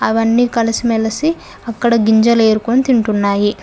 అవన్నీ కలిసి మెలిసి అక్కడ గింజలు ఏరుకొని తింటున్నాయి.